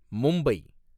Mumbai